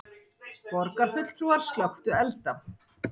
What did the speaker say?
Borgarfulltrúar slökktu elda